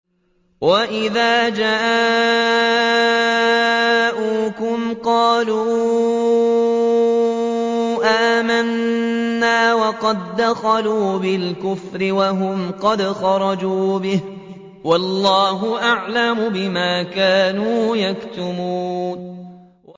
وَإِذَا جَاءُوكُمْ قَالُوا آمَنَّا وَقَد دَّخَلُوا بِالْكُفْرِ وَهُمْ قَدْ خَرَجُوا بِهِ ۚ وَاللَّهُ أَعْلَمُ بِمَا كَانُوا يَكْتُمُونَ